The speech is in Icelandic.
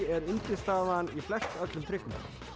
er undirstaðan í flestöllum trikkum